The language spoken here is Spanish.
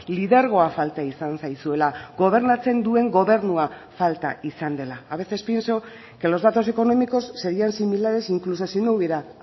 lidergoa falta izan zaizuela gobernatzen duen gobernua falta izan dela a veces pienso que los datos económicos serian similares incluso si no hubiera